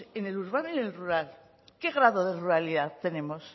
en el urbano y en el rural qué grado de ruralidad tenemos